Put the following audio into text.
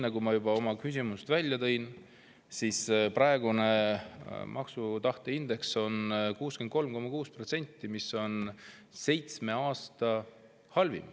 Nagu ma juba oma küsimuses välja tõin, praegune maksutahte indeks on 63,6, mis on seitsme aasta halvim.